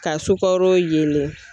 Ka sukaro yelen.